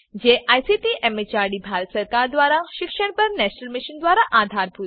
જેને ICT MHRD Bharat સરકાર મારફતે શિક્ષણ પર નેશનલ મિશન દ્વારા આધાર અપાયેલ છે